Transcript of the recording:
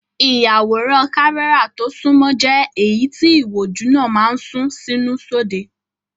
Ìyàwòrán kámẹ́rà tó sunmọ́ jẹ́ èyí tí ìwòjú náà máa ń sún sínú sóde.